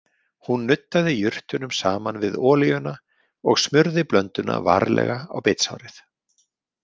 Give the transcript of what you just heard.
Hún nuddaði jurtunum saman við olíuna og smurði blönduna varlega á bitsárið.